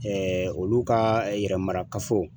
olu ka yɛrɛ marakafo.